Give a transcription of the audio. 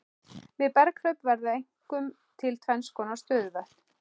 Við berghlaup verða einkum til tvennskonar stöðuvötn.